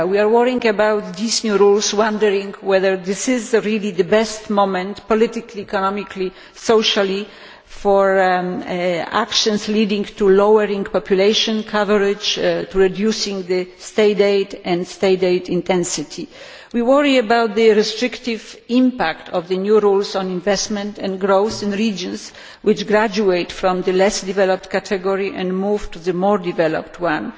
worrying about these new rules wondering whether this is really the best moment politically, economically and socially for actions leading to lower population coverage, reduced state aid and state aid intensity. We worry about the restrictive impact of the new rules on investment and growth in regions which graduate from the less developed category and move to the more developed one.